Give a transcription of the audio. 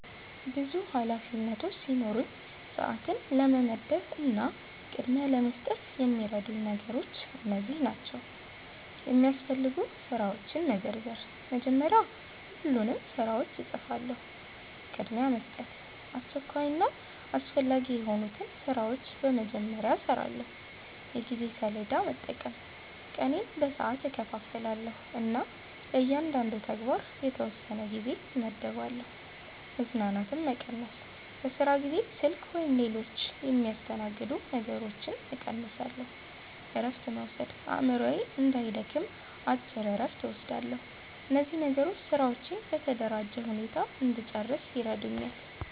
ብዙ ኃላፊነቶች ሲኖሩኝ፣ ሰዓትን ለመመደብ እና ቅድሚያ ለመስጠት የሚረዱኝ ነገሮች እነዚህ ናቸው፦ የሚያስፈልጉ ስራዎችን መዘርዘር – መጀመሪያ ሁሉንም ስራዎች እጽፋለሁ። ቅድሚያ መስጠት – አስቸኳይና አስፈላጊ የሆኑትን ስራዎች በመጀመሪያ እሰራለሁ። የጊዜ ሰሌዳ መጠቀም – ቀኔን በሰዓት እከፋፍላለሁ እና ለእያንዳንዱ ተግባር የተወሰነ ጊዜ እመድባለሁ። መዘናጋትን መቀነስ – በስራ ጊዜ ስልክ ወይም ሌሎች የሚያስተናግዱ ነገሮችን እቀንሳለሁ። እረፍት መውሰድ – አእምሮዬ እንዳይደክም አጭር እረፍት እወስዳለሁ። እነዚህ ነገሮች ስራዎቼን በተደራጀ ሁኔታ እንድጨርስ ይረዱኛል።